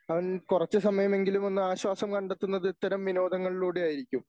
അവൻ കുറച്ചു സമയമെങ്കിലുമൊന്ന് ആശ്വാസം കണ്ടെത്തുന്നത് ഇത്തരം വിനോദങ്ങളിലൂടെയായിരിക്കും.